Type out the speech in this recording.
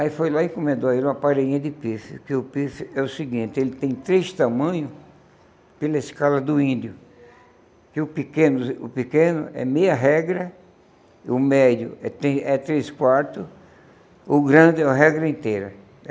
Aí foi lá e encomendou a ele uma parede de pifes, que o pife é o seguinte, ele tem três tamanhos pela escala do índio, que o pequeno o pequeno é meia regra, o médio é três é três quarto, o grande é a regra inteira.